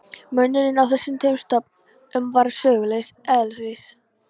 Munurinn á þessum tveim stofn- um var sögulegs eðlis.